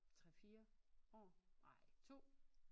3 4 år ej 2